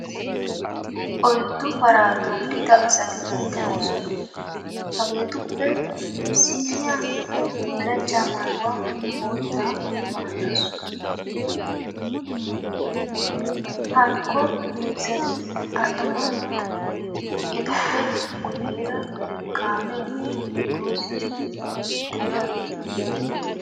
Oyiddu paraa toggida asati de'oosona. Hageetuppe issinniya bullachchaa mayuwa boottaa mayaasu. Hankko heezzati attumaageeta. Etuppe guyyeera kaameenne dozzati diyageeti beettoosona.